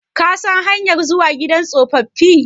Ka san hanyar zuwa gidan tsofaffi?